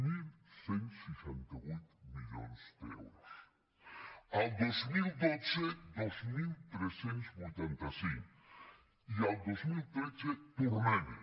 onze seixanta vuit milions d’euros el dos mil dotze dos mil tres cents i vuitanta cinc i el dos mil tretze tornem hi